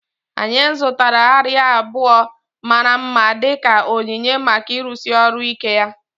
Anyị zụtara arịa abụọ mara mma dị ka onyinye maka ịrụsi ọrụ ike ya